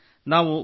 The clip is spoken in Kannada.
ಹೌದು ಸರ್